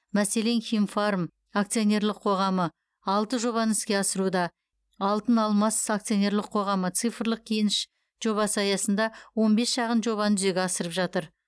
мәселен химфарм акционерлік қоғамы алты жобаны іске асыруда алтыналмас акционерлік қоғамы цифрлық кеніш жобасы аясында он бес шағын жобаны жүзеге асырып жатыр